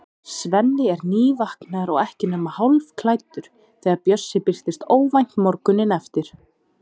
Svenni er nývaknaður og ekki nema hálfklæddur þegar Bjössi birtist óvænt morguninn eftir.